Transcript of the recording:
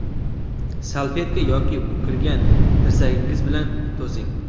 salfetka yoki bukilgan tirsagingiz bilan to‘sing!.